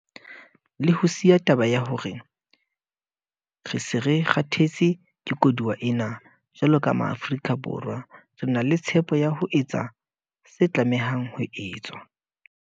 Le ho siya taba ya hore re se re 'kgathetse ke koduwa' ena, jwalo ka Maafrika Borwa, re na le tshepo ya ho etsa se tlamehang ho etswa.